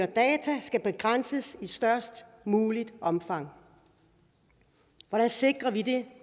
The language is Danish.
data skal begrænses i størst muligt omfang hvordan sikrer vi det